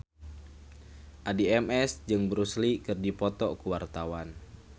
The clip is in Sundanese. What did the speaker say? Addie MS jeung Bruce Lee keur dipoto ku wartawan